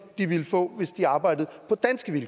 de ville få hvis de arbejdede